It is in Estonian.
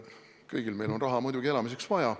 Kõigil meil on raha muidugi elamiseks vaja.